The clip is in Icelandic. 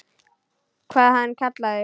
Hvað hann kallar þig?